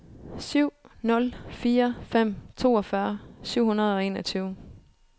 syv nul fire fem toogfyrre syv hundrede og enogtyve